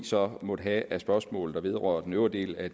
så måtte have af spørgsmål der vedrører den øvrige del af